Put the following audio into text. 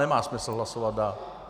Nemá smysl hlasovat dál.